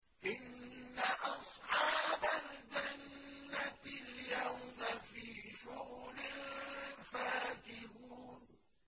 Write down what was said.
إِنَّ أَصْحَابَ الْجَنَّةِ الْيَوْمَ فِي شُغُلٍ فَاكِهُونَ